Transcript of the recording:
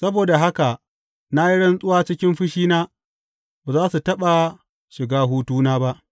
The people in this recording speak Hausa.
Saboda haka na yi rantsuwa cikin fushina, Ba za su taɓa shiga hutuna ba.